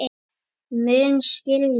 Mun skilja.